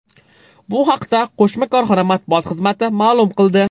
Bu haqda qo‘shma korxona matbuot xizmati ma’lum qildi .